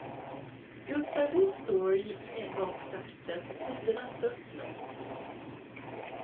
Just där vi står gick en gång starten för tidernas störtlopp.